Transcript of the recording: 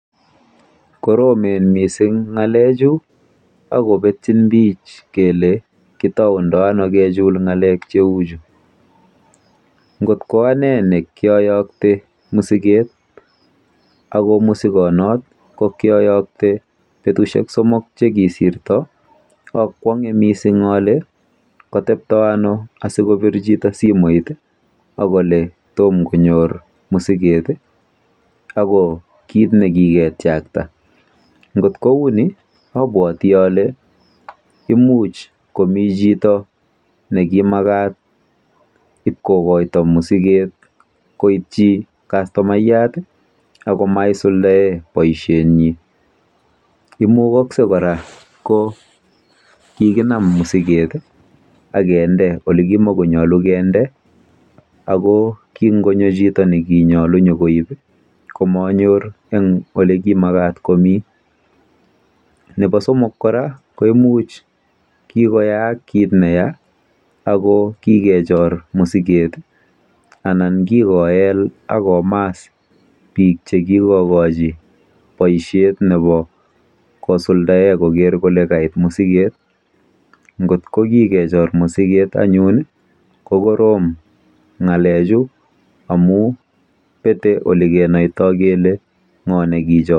Koromen mising ng'alechu akopetchin pik kele kitoune ano kechul ng'alek cheuchu. Ngot koane nekioyokte musiket ako kiayokte betusiek somok chekikosirto ko katepto ano sikobir chito akole tom konyor musiket ako kit nekiketiakta. Ngot kouni abwoti ole imuch komi chito nekimakat ibkokoito musiket koityi kastoma akomaisuldae boisionotok. Imukaksei kora ko kikinam musiket akende olikimakomatat kende akokingonyo chito nekimakat nyokoib musiket ko manyokonyor. Nebo somok ko imuch kikoyaak kit neya akokikechor musiket anan kikomaas bik.